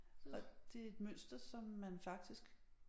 Og det et mønster som man faktisk